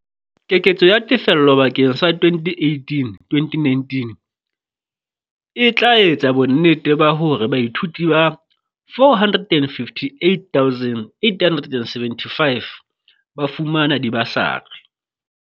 Keketso ya tefello bakeng sa 2018-19, e tla etsa bonnete ba hore baithuti ba 458 875 ba fumana dibasari.